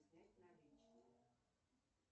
снять наличные